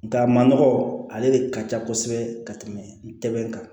Nga ma nɔgɔ ale de ka ca kosɛbɛ ka tɛmɛ ntɛ kan